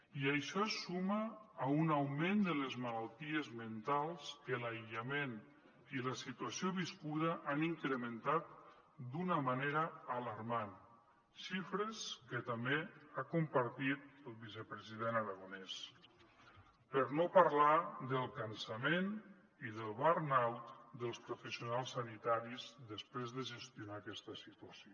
i això es suma a un augment de les malalties mentals que l’aïllament i la situació viscuda han incrementat d’una manera alarmant xifres que també ha compartit el vicepresident aragonès per no parlar del cansament i del burn out dels professionals sanitaris després de gestionar aquesta situació